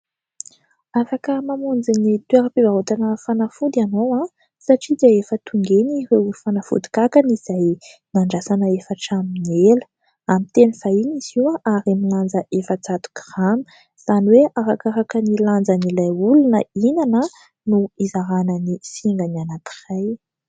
Afaka mamonjy ny toeram-pivarotana fanafody ianao satria dia efa tonga eny ireo fanafody kankana izay nandrasana efa hatramin'ny ela. Amin'ny teny vahiny izy io ary milanja efajato grama, izany hoe arakaraka ny lanjan'ilay olona hihinana no hizarana ny singany anankiray.